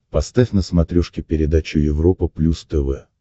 поставь на смотрешке передачу европа плюс тв